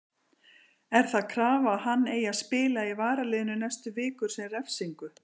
Er það krafa að hann eigi að spila í varaliðinu næstu vikur sem refsingu?